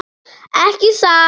Ekki satt.